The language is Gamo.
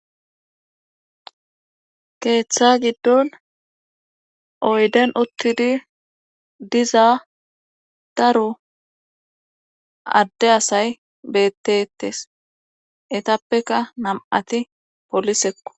keeththa giddon oyden uttidi diza daru adde asay bettetes etappeka nam7ati polisekko